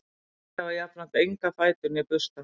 þeir hafa jafnframt enga fætur né bursta